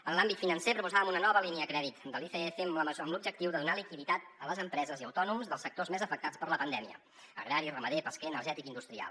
en l’àmbit financer proposàvem una nova línia de crèdit de l’icf amb l’objectiu de donar liquiditat a les empreses i autònoms dels sectors més afectats per la pandèmia agrari ramader pesquer energètic i industrial